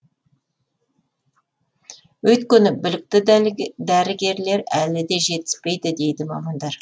өйткені білікті дәрігерлер әлі де жетіспейді дейді мамандар